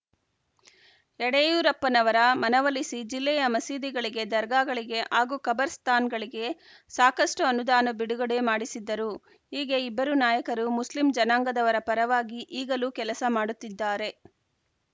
ಯಡಿಯೂರಪ್ಪನವರ ಮನವೊಲಿಸಿ ಜಿಲ್ಲೆಯ ಮಸೀದಿಗಳಿಗೆ ದರ್ಗಾಗಳಿಗೆ ಹಾಗೂ ಖಬರ್‌ಸ್ಥಾನ್‌ಗಳಿಗೆ ಸಾಕಷ್ಟುಅನುದಾನ ಬಿಡುಗಡೆ ಮಾಡಿಸಿದ್ದರು ಹೀಗೆ ಇಬ್ಬರು ನಾಯಕರು ಮುಸ್ಲಿ ಜನಾಂಗದವರ ಪರವಾಗಿ ಈಗಲೂ ಕೆಲಸ ಮಾಡುತ್ತಿದ್ದಾರೆ